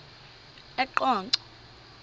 eqonco